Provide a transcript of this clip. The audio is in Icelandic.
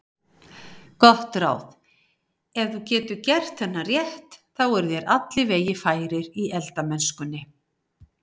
Gott ráð: Ef þú getur gert þennan rétt eru þér allir vegir færir í eldamennskunni.